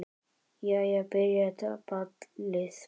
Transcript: Jæja. byrjar ballið!